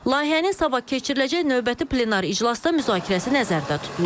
Layihənin sabah keçiriləcək növbəti plenar iclasda müzakirəsi nəzərdə tutulur.